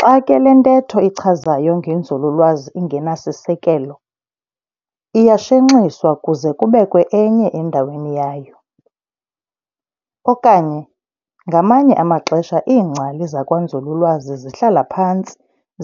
Xa ke le ntehto ichazayo ngenzululwazi ingenasisekelo, iyashenxiswa kuze kubekwe enye endaweni yayo. Okanye, ngamanye amaxesha iingcali zakwanzululwazi zihlala phantsi